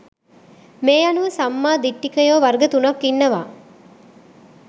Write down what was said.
මේ අනුව සම්මා දිට්ඨිකයෝ වර්ග තුනක් ඉන්නවා